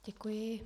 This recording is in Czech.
Děkuji.